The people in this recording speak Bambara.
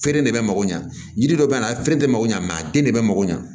Feere de bɛ mako ɲɛ jiri dɔ bɛ yan a feere de mako ɲɛ mɛ a den de bɛ mako ɲa